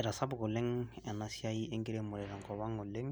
Etasapuka oleng eena siai enkiremore tenkop ang oleng,